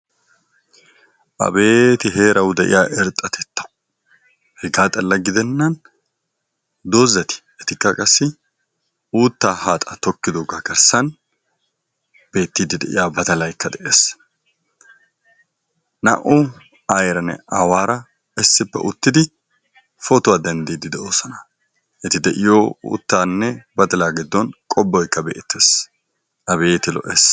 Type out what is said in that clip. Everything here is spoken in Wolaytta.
Abeeti heerawu de'iya irxxatettay!hegaa xalla gidennan doozzati etikka qassi uuttaa haaxaa tokkidoogaa garssan beettiiddi de'iya badalaykka de'ees. Naa''u aayeeranne aawaara issippe uttidi pootuwa denddiidde de'oosona. Eti de'iyo uuttaanne badalaa giddon qobboykka beettees abeeti lo''ees!